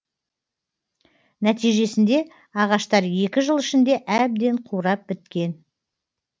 нәтижесінде ағаштар екі жыл ішінде әбден қурап біткен